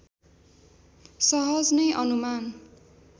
सहज नै अनुमान